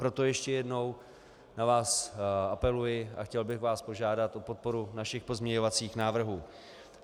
Proto ještě jednou na vás apeluji a chtěl bych vás požádat o podporu našich pozměňovacích návrhů.